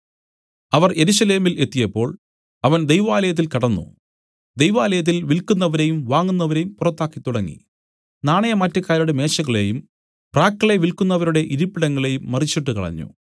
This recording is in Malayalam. അവർ യെരൂശലേമിൽ എത്തിയപ്പോൾ അവൻ ദൈവാലയത്തിൽ കടന്നു ദൈവാലയത്തിൽ വില്ക്കുന്നവരെയും വാങ്ങുന്നവരെയും പുറത്താക്കിത്തുടങ്ങി നാണയമാറ്റക്കാരുടെ മേശകളെയും പ്രാക്കളെ വില്ക്കുന്നവരുടെ ഇരിപ്പിടങ്ങളെയും മറിച്ചിട്ടു കളഞ്ഞു